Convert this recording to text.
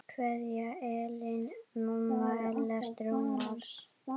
Kveðja Ellen, mamma Ellert Rúnars.